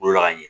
Bolola ka ɲɛ